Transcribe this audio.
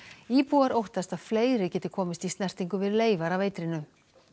íbúar óttast að fleiri geti komist í snertingu við leifar af eitrinu